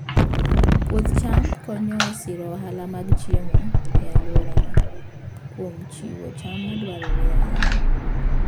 Puoth cham konyo e siro ohala mag chiemo e alworano kuom chiwo cham madwarore ahinya.